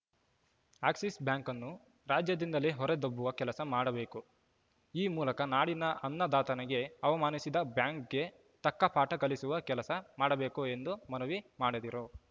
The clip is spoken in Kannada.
ಅಕ್ಸಿಸ್‌ ಬ್ಯಾಂಕನ್ನು ರಾಜ್ಯದಿಂದಲೇ ಹೊರ ದಬ್ಬುವ ಕೆಲಸ ಮಾಡಬೇಕು ಈ ಮೂಲಕ ನಾಡಿನ ಅನ್ನದಾತನಿಗೆ ಅವಮಾನಿಸಿದ ಬ್ಯಾಂಕ್‌ಗೆ ತಕ್ಕ ಪಾಠ ಕಲಿಸುವ ಕೆಲಸ ಮಾಡಬೇಕು ಎಂದು ಮನವಿ ಮಾಡಿದರು